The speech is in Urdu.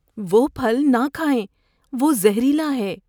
وہ پھل نہ کھائیں۔ وہ زہریلا ہے۔